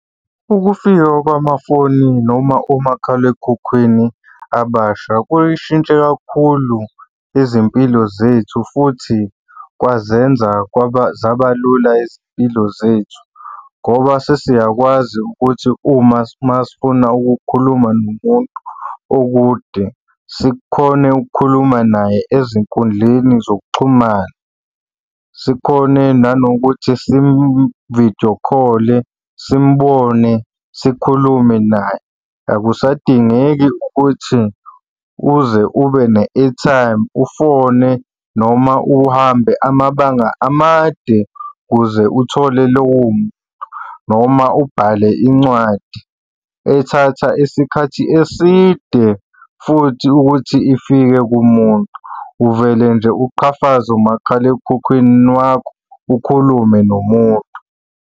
Ukufika kwamafoni noma omakhalekhukhwini abasha kuyishintshe kakhulu izimpilo zethu futhi kwazenza zaba lula izimpilo zethu ngoba sesiyakwazi ukuthi uma masifuna ukukhuluma nomuntu okude, sikhone ukukhuluma naye ezinkundleni zokuxhumana. Sikhone nanokuthi simu-video call-e, simubone, sikhulume naye. Akusadingeki ukuthi uze ube ne-airtime ufone noma uhambe amabanga amade ukuze uthole lowo muntu noma ubhale incwadi ethatha isikhathi eside futhi ukuthi ifike kumuntu. Uvele nje uqhafaze umakhalekhukhwini wakho ukhulume nomuntu.